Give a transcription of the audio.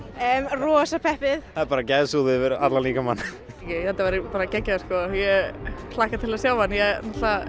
rosa peppuð það er bara gæsahúð yfir allan líkamann þetta verður bara geggjað sko ég hlakka til að sjá hann ég